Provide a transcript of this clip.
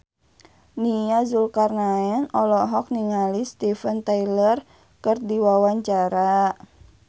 Nia Zulkarnaen olohok ningali Steven Tyler keur diwawancara